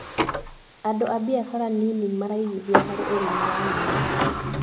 Andũ a mbiacara nini maraigithia harĩ ũrĩmi wa nyeni.